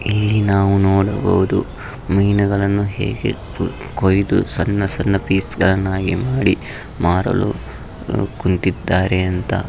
ಇಲ್ಲಿ ನಾವು ನೋಡಬಹುದು ಮೀನುಗಳನ್ನು ಹೇಗೆ ಕೊಯಿದು ಸಣ್ಣ ಸಣ್ಣ ಪೀಸ್ ಗಳನ್ನಾಗಿ ಮಾಡಿ ಮಾರಲು ಕುಳಿತ್ತಿದ್ದಾರೆ ಅಂತ .